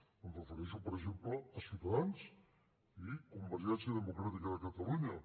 em refereixo per exemple a ciutadans i convergència democràtica de catalunya